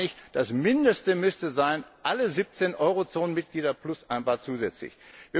Deshalb meine ich, das Mindeste müssten alle siebzehn Eurozonenmitglieder plus ein paar zusätzlich sein.